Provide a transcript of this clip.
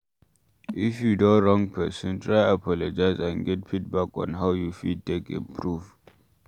If you don wrong person, try apologize and get feedback on how you fit take improve